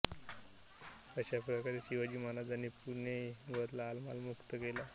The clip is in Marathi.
अशा प्रकारे शिवाजी महाराजांनी पुणे व लालमहाल मुक्त केला